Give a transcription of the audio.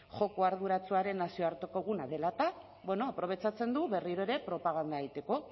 joko arduratsuaren nazioarteko eguna dela eta bueno aprobetxatzen du berriro ere propaganda egiteko